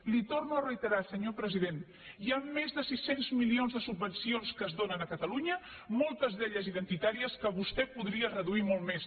li ho torno a retirar senyor president hi han més de sis cents milions de subvencions que es donen a catalunya moltes d’elles identitàries que vostè podria re duir molt més